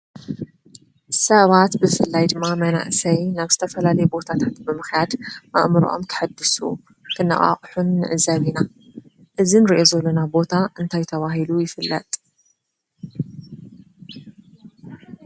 ሰባት ብፍላይ ድማ መናእሰይ ናብ ዝተፈላለዩ ቦታታት ብምክያድ ኣእምርዖም ከሕድሱ ኽነቓቕሑን ንዕዘብ ኢና። እዚ እንርዮ ዘለና ቦታ እንታይ ተባሂሉ ይፍለጥ?